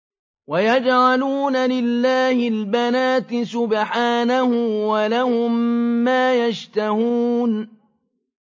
وَيَجْعَلُونَ لِلَّهِ الْبَنَاتِ سُبْحَانَهُ ۙ وَلَهُم مَّا يَشْتَهُونَ